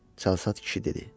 Çalsad kişi dedi.